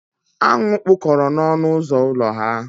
Aṅụ kpụkọrọ n'ọnụ ụzọ ụlọ ha